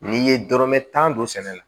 N'i ye dɔrɔmɛ tan don sɛnɛ na